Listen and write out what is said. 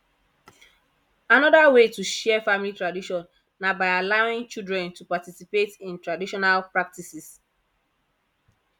anoda wey to share family tradition na by allowing children to participate in traditional practices